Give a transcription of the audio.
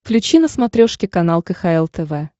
включи на смотрешке канал кхл тв